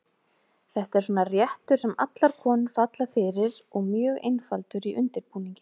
Þetta er svona réttur sem allar konur falla fyrir og mjög einfaldur í undirbúningi.